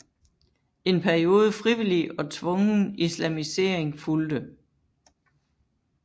En periode frivillig og tvungen islamisering fulgte